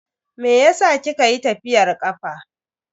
Meyasa kika yi tafiyar kafa?